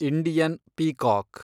Indian peacock